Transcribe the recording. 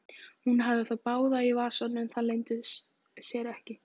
Hún hafði þá báða í vasanum, það leyndi sér ekki.